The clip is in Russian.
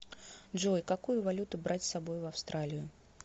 джой какую валюту брать с собой в австралию